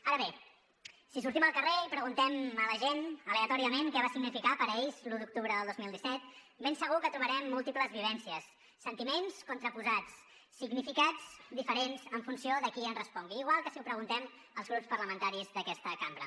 ara bé si sortim al carrer i preguntem a la gent aleatòriament què va significar per ells l’u d’octubre del dos mil disset ben segur que trobarem múltiples vivències sentiments contraposats significats diferents en funció de qui ens respongui igual que si ho preguntem als grups parlamentaris d’aquesta cambra